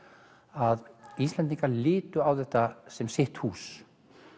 að Íslendingar litu á þetta sem sitt hús